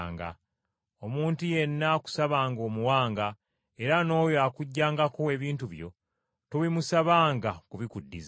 Omuntu yenna akusabanga omuwanga; era n’oyo akuggyangako ebintu byo tobimusabanga kubikuddizza.